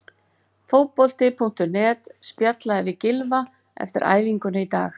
Fótbolti.net spjallaði við Gylfa eftir æfinguna í dag.